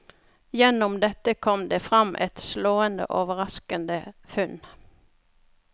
Gjennom dette kom det fram et slående og overraskende funn.